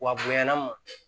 Wa bonyana ma